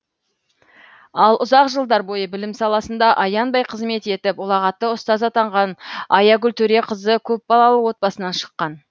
ал ұзақ жылдар бойы білім саласында аянбай қызмет етіп ұлағатты ұстаз атанған аягүл төреқызы көпбалалы отбасынан шыққан